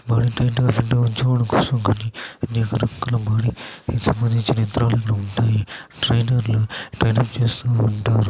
సంబంధించిన ఎంత్రలు ఉంటాయి ట్రైనర్ లు ట్రైన్ చేస్తూ ఉంటారు.